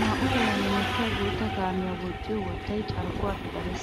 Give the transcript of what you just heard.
Naa'u tohuwan hemettiya guuta kaamiya woxxiyo wottay carkkuwappe darees,